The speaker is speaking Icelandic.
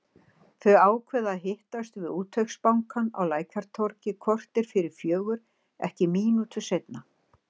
Þau ákveða að hittast við Útvegsbankann á Lækjartorgi korter fyrir fjögur, ekki mínútu seinna.